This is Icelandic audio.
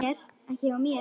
Ekki hjá mér.